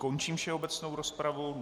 Končím všeobecnou rozpravu.